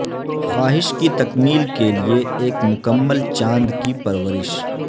خواہش کی تکمیل کے لئے ایک مکمل چاند کی پرورش